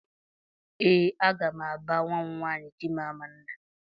Ee aga m aba nwa m nwaanyị Chimamanda